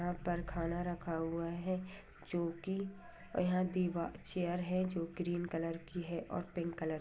यहाँ पर खाना रखा हुआ है जोकि यहाँ दीवा चेयर है जो क्रीम कलर की है और पिंक कलर --